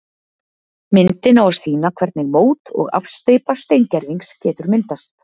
Myndin á að sýna hvernig mót og afsteypa steingervings getur myndast.